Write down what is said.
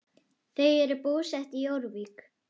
Þau eru búsett í Jórvík.